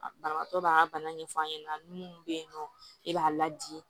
Banabatɔ b'a ka bana ɲɛfɔ a ɲɛna munnu bɛ yen nɔ e b'a la di